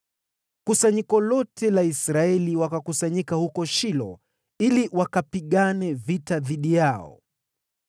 kusanyiko lote la Israeli wakakusanyika huko Shilo ili wakapigane vita dhidi yao.